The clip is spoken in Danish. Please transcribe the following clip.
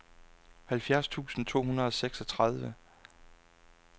halvfjerds tusind to hundrede og seksogtredive